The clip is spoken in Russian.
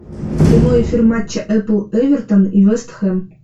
прямой эфир матча апл эвертон и вест хэм